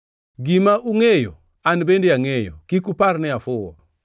Gima ungʼeyo, an bende angʼeyo; kik upar ni afuwo.